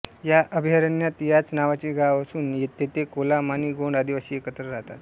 या अभ्यारण्यात याच नावाचे गाव असून तेथे कोलाम आणि गोंड आदिवासी एकत्र राहतात